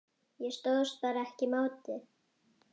Ég stóðst bara ekki mátið.